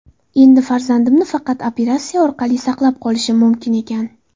Endi farzandimni faqat operatsiya orqali saqlab qolishim mumkin ekan.